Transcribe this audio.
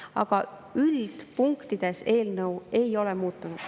Aga üldpunktides eelnõu ei ole muutunud.